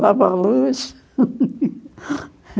Dava a luz.